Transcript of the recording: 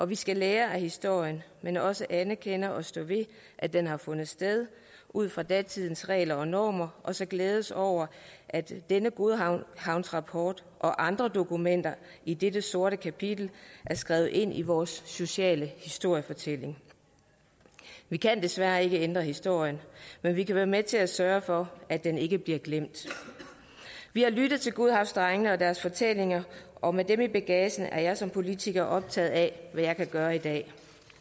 vi skal lære af historien men også anerkende og stå ved at den har fundet sted ud fra datidens regler og normer og så glæde os over at denne godhavnsrapport og andre dokumenter i dette sorte kapitel er skrevet ind i vores sociale historiefortælling vi kan desværre ikke ændre historien men vi kan være med til at sørge for at den ikke bliver glemt vi har lyttet til godhavnsdrengene og deres fortællinger og med dem i bagagen er jeg som politiker optaget af hvad jeg kan gøre i dag